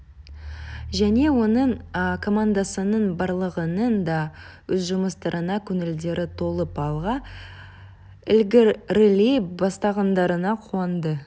және оның командасының барлығының да өз жұмыстарына көңілдері толып алға ілгерілей бастағандарына қуанды